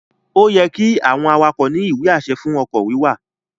Ó yẹ́ kí àwọn awakọ̀ ní ìwé-àṣẹ fún ọkọ̀ wíwà